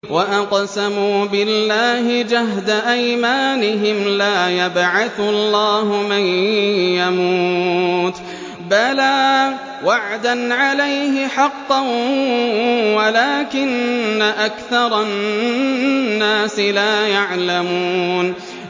وَأَقْسَمُوا بِاللَّهِ جَهْدَ أَيْمَانِهِمْ ۙ لَا يَبْعَثُ اللَّهُ مَن يَمُوتُ ۚ بَلَىٰ وَعْدًا عَلَيْهِ حَقًّا وَلَٰكِنَّ أَكْثَرَ النَّاسِ لَا يَعْلَمُونَ